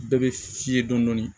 Bɛɛ bɛ fiye dɔɔnin